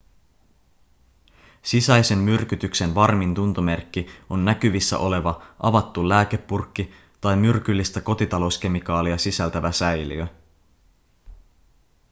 sisäisen myrkytyksen varmin tuntomerkki on näkyvissä oleva avattu lääkepurkki tai myrkyllistä kotitalouskemikaalia sisältävä säiliö